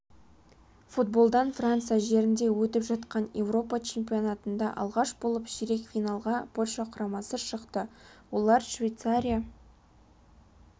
футболдан франция жерінде өтіп жатқан еуропа чемпионатында алғаш болып ширек финалға польша құрамасы шықты олар швейцария